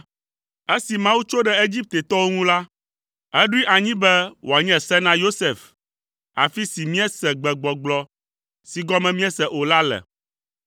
Esi Mawu tso ɖe Egiptetɔwo ŋu la, eɖoe anyi be wòanye se na Yosef, afi si míese gbegbɔgblɔ si gɔme míese o la le: